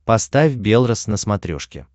поставь белрос на смотрешке